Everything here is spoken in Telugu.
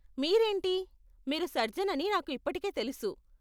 మీరేంటి, మీరు సర్జన్ అని నాకు ఇప్పటికే తెలుసు.